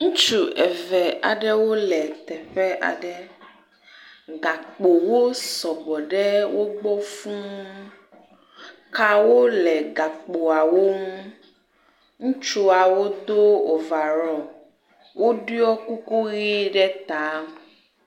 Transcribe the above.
Ŋutsu eve aɖewo le teƒe aɖe, gakpowo sɔgbɔ fuu, kawo le gakpoawo ŋu. Ŋutsuawo do ovarɔl, woɖɔ kuku ʋɛ̃ ɖe ta.